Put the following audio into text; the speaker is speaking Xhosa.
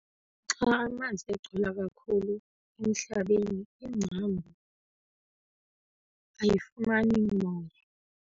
Xa amanzi egcwala kakhulu emhlabeni ingcambu ayifumani moya.